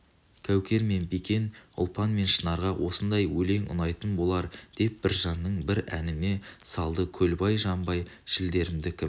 кәукер мен бикен ұлпан мен шынарға осындай өлең ұнайтын болар деп біржанның бір әніне салдыкөлбай жанбай шідерімді кім